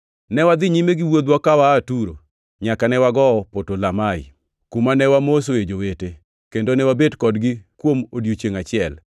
Ne wadhi nyime gi wuodhwa ka waa Turo, nyaka ne wagowo Potolomai, kuma ne wamosoe jowete, kendo ne wabet kodgi kuom odiechiengʼ achiel.